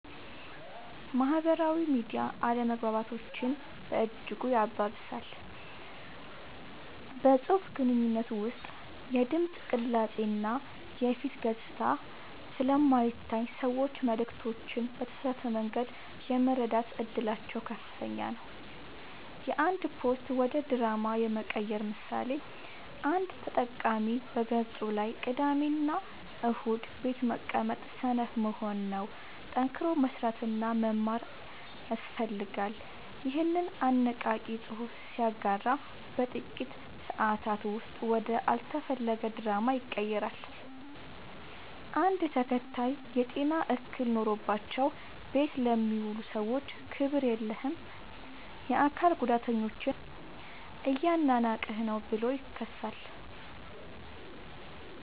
ማህበራዊ ሚዲያ አለመግባባቶችን በእጅጉ ያባብሳል። በፅሁፍ ግንኙነት ውስጥ የድምፅ ቅላፄ እና የፊት ገፅታ ስለማይታይ ሰዎች መልዕክቶችን በተሳሳተ መንገድ የመረዳት እድላቸው ከፍተኛ ነው። የአንድ ፖስት ወደ ድራማ የመቀየር ምሳሌ፦ አንድ ተጠቃሚ በገፁ ላይ "ቅዳሜና እሁድ ቤት መቀመጥ ሰነፍ መሆን ነው፣ ጠንክሮ መስራትና መማር ያስፈልጋል" ይኸንን አነቃቂ ፅሑፍ ሲያጋራ በጥቂት ሰአታት ውስጥ ወደ አልተፈለገ ድራማ ይቀየራል። አንድ ተከታይ "የጤና እክል ኖሮባቸው ቤት ለሚውሉ ሰዎች ክብር የለህም! የአካል ጉዳተኞችን እያናናቅህ ነው ብሎ ይከሳል።